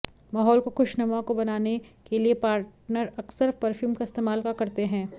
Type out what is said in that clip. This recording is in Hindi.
माहौल को खुशनुमा को बनाने के लिए पार्टनर अक्सर परफ्यूम का इस्तेमाल का करते हैं